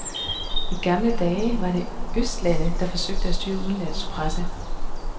I gamle dage var det østlande, der forsøgte at styre udenlandsk presse.